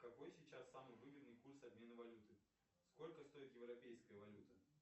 какой сейчас самый выгодный курс обмена валюты сколько стоит европейская валюта